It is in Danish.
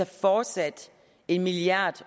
fortsat en milliard